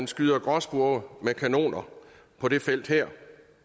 skyde gråspurve med kanoner på det felt her